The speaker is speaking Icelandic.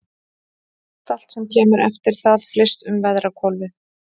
Mestallt sem kemur eftir það flyst um veðrahvolfið.